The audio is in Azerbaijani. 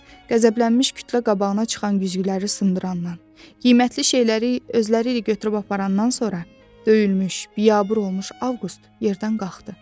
Qəzəblənmiş kütlə qabağına çıxan güzgüləri sındırandan, qiymətli şeyləri özləri ilə götürüb aparandan sonra döyülmüş, biabır olmuş Avqust yerdən qalxdı.